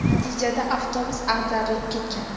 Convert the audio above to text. Natijada avtobus ag‘darilib ketgan.